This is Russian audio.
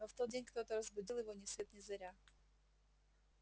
но в тот день кто-то разбудил его ни свет ни заря